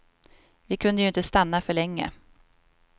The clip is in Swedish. Vi kunde ju inte stanna för länge.